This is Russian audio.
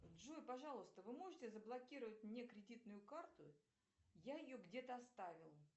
джой пожалуйста вы можете заблокировать мне кредитную карту я ее где то оставил